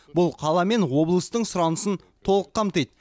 бұл қала мен облыстың сұранысын толық қамтиды